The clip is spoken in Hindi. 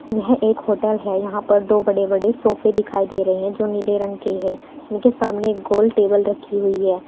यह एक होटल है यहां पर दो बड़े बड़े सोफे दिखाई दे रहे हैं जो नीले रंग के है उनके सामने गोल टेबल रखी हुई है।